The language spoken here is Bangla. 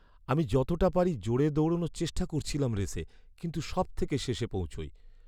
আমি যতটা পারি জোরে দৌড়ানোর চেষ্টা করেছিলাম রেসে, কিন্তু সবথেকে শেষে পৌঁছাই।